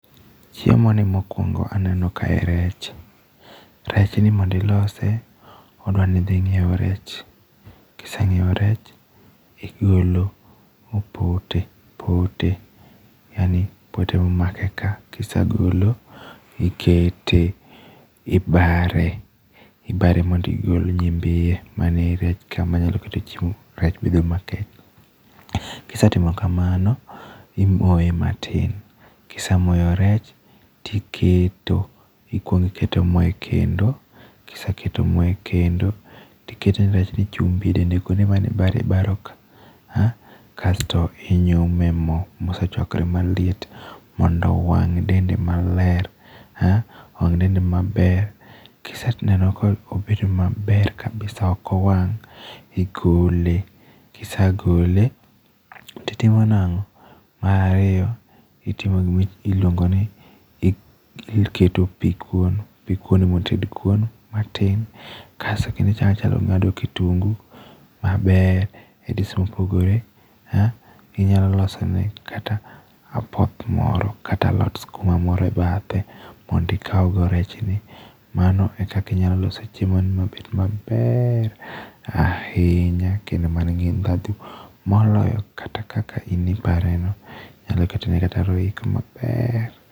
Chiemoni mokuongo aneno ka en rech, rechni mondo ilose, odwa ni idhi inyiew rech, ka isenyiewo rech, igolo pote pote yaani poote momake ka. Ka isegolo ibare ibare mondo igol nyimbi iye , man ei rech ka manyalo kata ketho rech mabed makech, kisetimo kamano imoye matin, kisemoyo rech iketo , ikuongo iketo mo ekendo, ka iseketo mo e kendo, to iketo rech e chumbi edende kuonde mane ibari ibari ka kaeto to inyumo emo mosechuakore maliet mondo owang'e dende maler, ah owang' dende maler ka iseneno ka obet maber kabisa ok owang' to igole. Ka isegole to itimo nang'o, mar ariyo itimo gima iluongo ni, iketo pi kuon. Pi kuon mondo ited kuon matin, kasto kendo ing'ado kitungu maber e dis mopogore, ah inyalo losone kata apoth moro kata alot sikuma moro e bathe mondo ikaw go rechni, mano e kaka inyalo loso chiemo ni mabed maber ahinya kendo man gi ndhadhu moloyo kata kaka in ipareno. Inyalo ketone kata roiko maber.